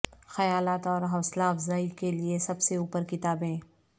خیالات اور حوصلہ افزائی کے لئے سب سے اوپر کتابیں